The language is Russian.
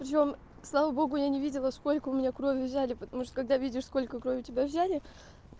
слава богу я не видела сколько у меня кровь взяли потому что когда видишь сколько крови у тебя взяли